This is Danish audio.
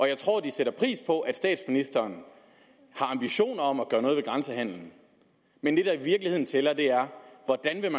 jeg tror de sætter pris på at statsministeren har ambitioner om at gøre noget ved grænsehandelen men det der i virkeligheden tæller er hvordan